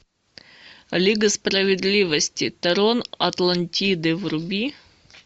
лига справедливости трон атлантиды вруби